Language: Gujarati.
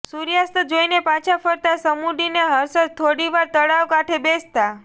સૂર્યાસ્ત જોઈને પાછા ફરતાં સમુડી ને હર્ષદ થોડીવાર તળાવ કાંઠે બેસતાં